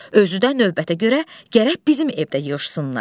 Özü də növbətə görə gərək bizim evdə yığışsınlar.